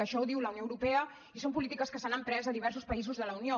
això ho diu la unió europea i són polítiques que s’han emprès a diversos països de la unió